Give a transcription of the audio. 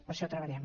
per això treballem